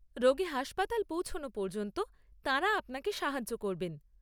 রোগী হাসপাতাল পৌঁছানো পর্যন্ত তাঁরা আপনাকে সাহায্য করবেন।